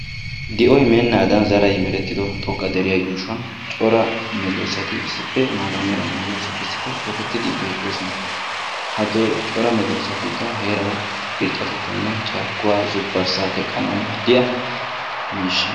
Di'oy meennaadan zaray merettido xoqqa deriya yuushuwan cora medoosati, issippe maata mala medosati issippe tokettidi beettoosona. Ha cora medoosatikka heerawu irxxatettawunne carkkuwaa zubbarssaa teqqanaw maadiya miishsha.